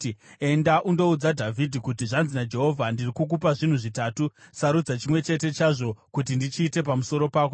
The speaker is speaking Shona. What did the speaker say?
“Enda undoudza Dhavhidhi kuti, ‘Zvanzi naJehovha: Ndiri kukupa zvinhu zvitatu. Sarudza chimwe chete chazvo kuti ndichiite pamusoro pako.’ ”